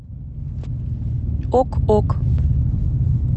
ок ок